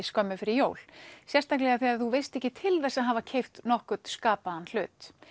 skömmu fyrir jól sérstaklega þegar þú veist ekki til þess að hafa keypt nokkurn skapaðan hlut